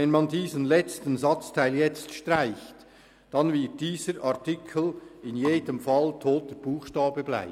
Wenn man diesen letzten Satzteil jetzt streicht, dann wird dieser Artikel in jedem Fall toter Buchstabe bleiben.